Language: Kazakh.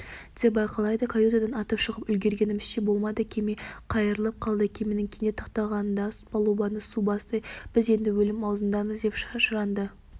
деп айқайлады каютадан атып шығып үлгергенімізше болмады кеме қайырлап қалды кеменің кенет тоқтағандығынан палубаны су басты біз енді өлім аузындамыз деп шашыранды